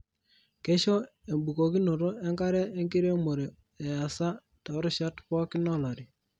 Keisho ebukokinoto enkare enkiremore easa torishat pokin olari.